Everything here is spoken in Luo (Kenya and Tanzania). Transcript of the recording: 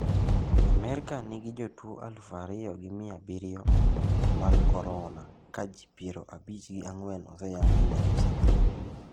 Amerka nigi jotuo alufu ariyo gi mia abiriyo mag korona ka ji piero abich gi angwen oseyangi ni osetho.